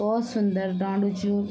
भोत सुन्दर डांडू च यु ।